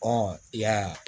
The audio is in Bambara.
Ɔ i y'a ye